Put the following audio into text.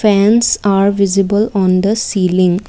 fans are visible on the ceiling.